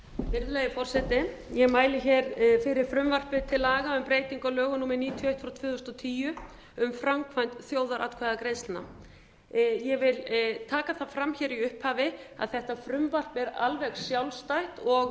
virðulegi forseti ég mæli hér fyrir frumvarpi til laga um breytingu á lögum númer níutíu og eitt tvö þúsund og tíu um framkvæmd þjóðaratkvæðagreiðslna ég vil taka það fram hér í upphafi að þetta frumvarp er alveg sjálfstætt